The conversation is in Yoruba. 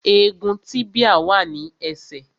Egun tíbíà wà ní ẹsẹ̀